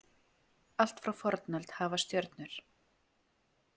Allt frá fornöld hafa stjörnur.